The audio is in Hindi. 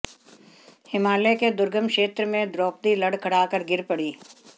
हिमालय के दुर्गम क्षेत्र में द्रौपदी लड़खड़ाकर गिर पड़ीं